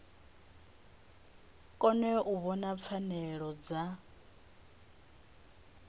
kone u vhona pfanelo dza